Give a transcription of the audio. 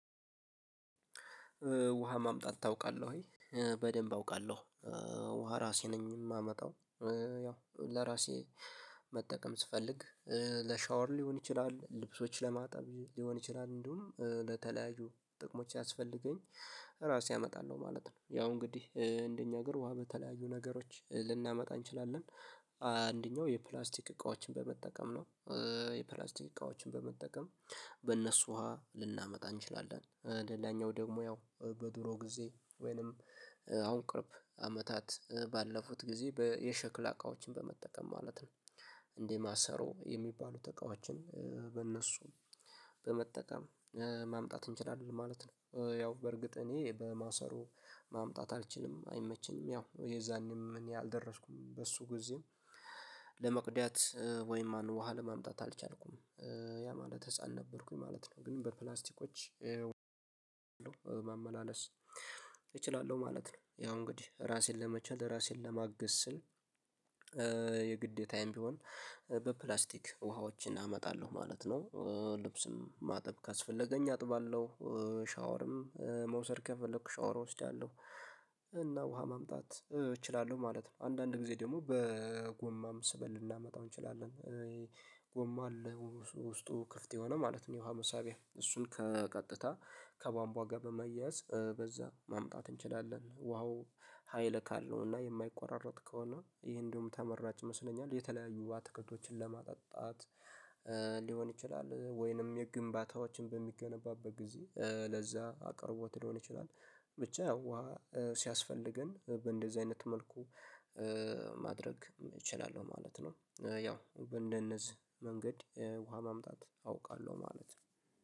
ውሃ ማምጣት ታውቃለህ ወይ? በደንብ አውቃለሁ። ውሃ ራሴ ነኝ የማመጣው። ያው ለራሴ መጠቀም ስፈልግ፤ ለሻወር ሊሆን ይችላል፣ ልብሶች ለማጠብ ሊሆን ይችላል፣ እንዲሁም ለተለያዩ ጥቅሞች ሲያስፈልገኝ ራሴ አመጣለሁ ማለት ነው። ያው እንግዲህ እንደኛ ሀገር ውሃ በተለያዩ ነገሮች ልናመጣ እንችላለን። አንደኛው የፕላስቲክ እቃዎችን በመጠቀም ነው። የፕላስቲክ እቃዎችን በመጠቀም በእነሱ ውሃ ልናመጣ እንችላለን። ለሌላኛው ደግሞ ያው በድሮ ጊዜ ወይንም አሁን ቅርብ አመታት ባለፉት ጊዜ የሸክላ እቃዎችን በመጠቀም ማለት ነው። እንደ ማሰሮ የሚባሉት እቃዎችን በእነሱ በመጠቀም ማምጣት እንችላለን ማለት ነው። ያው በእርግጥ እኔ በማሰሮ ማምጣት አልችልም። አይመችኝም። ያው የዛኔም እኔ አልደረስኩም በሱ ጊዜም። ለመቅዳት ወይም ማነው ውሃ ለማምጣት አልቻልኩም። ያ ማለት ህፃን ነበርኩኝ ማለት ነው። ግን በፕላስቲኮች ማመላለስ እችላለሁ ማለት ነው። ያው እንግዲህ ራሴን ለመቻል ራሴን ለማግዝ ስል የግዴታዬም ቢሆን በፕላስቲክ ውሃዎችን አመጣለሁ ማለት ነው። ልብስም ማጠብ ካስፈለገኝ አጥባለሁ፤ ሻወርም መውሰድ ከፈለኩ ሻወር እወስዳለሁ። እና ውሃ ማምጣት እችላለሁ ማለት ነው። አንዳንድ ጊዜ ደግሞ በጎማም ስበን ልናመጣው እንችላለን። ጎማ አለ ውስጡ ክፍት የሆነ ማለት ነው የውሃ መሳቢያ። እሱን ከቀጥታ ከባንቧ ጋር በመያዝ በዛ ማምጣት እንችላለን። ውሃው ሀይል ካለው እና የማይቆራረጥ ከሆነ ይሄ እንዲያውም ተመራጭ ይመስለኛል። የተለያዩ ባተከቶችን ለማጣጣት ሊሆን ይችላል ወይንም የግንባታዎችን በሚገነባበት ጊዜ ለዛ አቅርቦት ሊሆን ይችላል። ብቻ ያው ውሃ ሲያስፈልገን በእንደዚህ አይነት መልኩ ማድረግ እችላለሁ ማለት ነው። ያው በእንደነዚህ መንገድ ውሃ ማምጣት አውቃለሁ ማለት ነው።